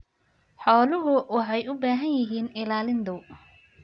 Xooluhu waxay u baahan yihiin ilaalin dhow.